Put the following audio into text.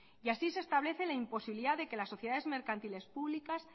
y así se establece la imposibilidad de que las sociedades mercantiles públicas